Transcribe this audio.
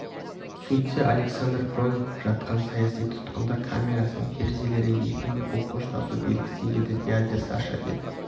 сөйтсе александр бронников жатқан саяси тұтқындар камерасының терезелері екен бұл қоштасу белгісі еді дядя саша деп